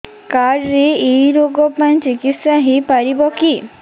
card ରେ ଏଇ ରୋଗ ପାଇଁ ଚିକିତ୍ସା ହେଇପାରିବ କି